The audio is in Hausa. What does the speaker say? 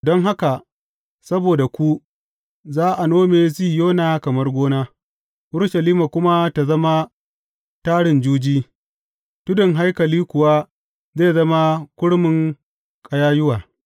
Don haka, saboda ku, za a nome Sihiyona kamar gona, Urushalima kuma ta zama tarin juji, tudun haikali kuwa zai zama kurmin ƙayayyuwa.